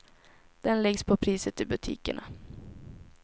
Den läggs på priset i butikerna.